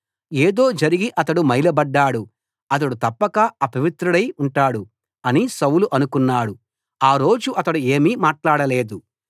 ఏదో జరిగి అతడు మైలబడ్డాడు అతడు తప్పక అపవిత్రుడై ఉంటాడు అని సౌలు అనుకున్నాడు ఆ రోజు అతడు ఏమీ మాట్లాడలేదు